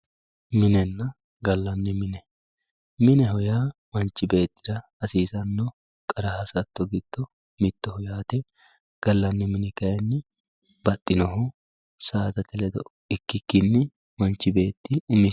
Minenna gallanni mine, mineho yaa manchi beettira hasiisano qara hasatto giddo mittoho yaate gallani mini kayinni baxxinoho saadate ledo ikkikkini manchi beetti umisinni.